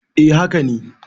eh haka ne